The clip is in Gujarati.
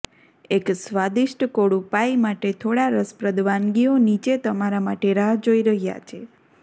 એક સ્વાદિષ્ટ કોળું પાઇ માટે થોડા રસપ્રદ વાનગીઓ નીચે તમારા માટે રાહ જોઈ રહ્યા છે